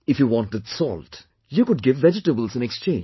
If you wanted salt, you could give vegetables in exchange